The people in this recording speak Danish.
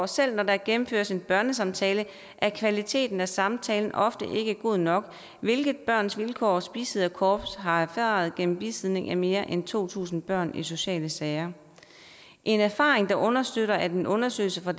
selv når der gennemføres en børnesamtale er kvaliteten af samtalen ofte ikke god nok hvilket børns vilkårs bisidderkorps har erfaret gennem bisidning af mere end to tusind børn i sociale sager en erfaring der understøttes af en undersøgelse fra